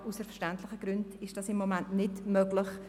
Aber aus verständlichen Gründen ist das im Moment nicht möglich.